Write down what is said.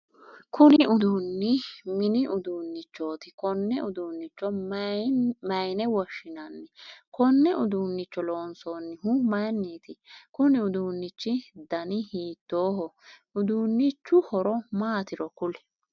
Kunni uduunni minni uduunichooti konne uduunicho mayine woshinnanni? Konne uduunicho loonsoonnihu mayinniti? Kunni uduunichi danni hiittooho? Uduunchu horo maatiro kuli